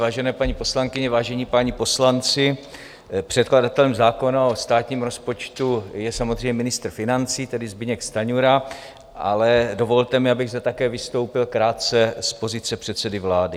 Vážené paní poslankyně, vážení páni poslanci, předkladatelem zákona o státním rozpočtu je samozřejmě ministr financí, tedy Zbyněk Stanjura, ale dovolte mi, abych zde také vystoupil krátce z pozice předsedy vlády.